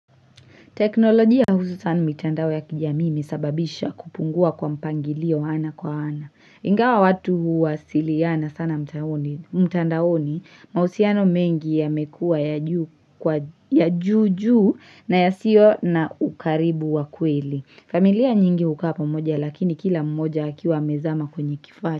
Teknolojia hususan mitandao ya kijamii imesababisha kupungua kwa mpangilio ana kwa ana. Ingawa watu huwasiliana sana mtandaoni mahusiano mengi yamekuwa ya juu juu na yasio na ukaribu wa kweli. Familia nyingi hukaa pamoja lakini kila mmoja akiwa amezama kwenye kifaa.